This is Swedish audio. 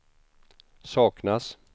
saknas